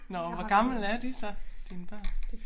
Nåh hvor gamle er de så dine børn